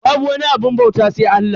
Babu wani abun bauta sai Allah.